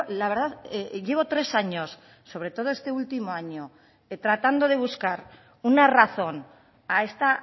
la verdad llevo tres años sobre todo este último año tratando de buscar una razón a esta